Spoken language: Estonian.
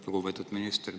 Lugupeetud minister!